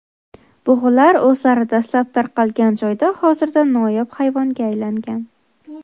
Bug‘ular o‘zlari dastlab tarqalgan joyda hozirda noyob hayvonga aylangan.